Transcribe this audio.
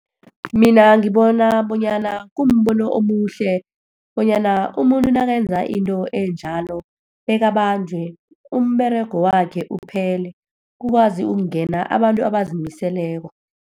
Mina ngibona bonyana kumbono omuhle bonyana umuntu nakenza into enjalo, bekabanjwe, umberego wakhe uphele. Kukwazi ukungena abantu abazimiseleko.